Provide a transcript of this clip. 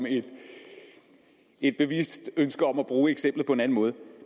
et bevidst ønske om at bruge eksemplet på en anden måde